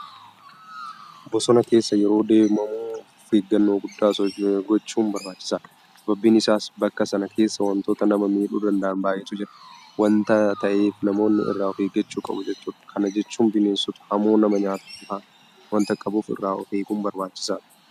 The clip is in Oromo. Bosona keessa yeroo deemamu ofeeggannoo guddaa gochuun barbaachisaadha. Sababiin isaas bakka sana keessa waantota nama miidhuu danda'an baay'eetu jira waanta ta'eef namoonni irraa ofeeggachuu qabu jechuudha. Kana jechuun bineensota hamoo nama nyaatan fa'aa waanta qabuuf irraa ofeeguun barbaachisaadha.